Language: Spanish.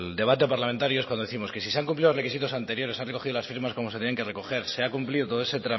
debate parlamentario es cuando décimos que si se han cumplido los requisitos anteriores se han recogido las firmas como se tienen que recoger se ha cumplido